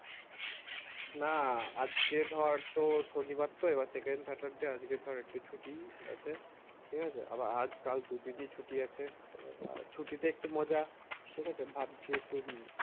না আজকে ধর তোর শনিবার তো এবার আজকে ধর একটু ছুটি আছে ঠিকাছে আবার আজ কাল দু-তিন দিন ছুটি আছে তো ছুটিতে একটু মজা ঠিকাছে ভাবছি একটু